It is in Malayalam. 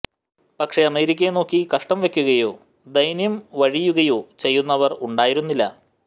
പക്ഷേ അമേരിക്കയെ നോക്കി കഷ്ടം വെക്കുകയോ ദൈന്യം വഴിയുകയോ ചെയ്യുന്നവർ ഉണ്ടായിരുന്നില്ല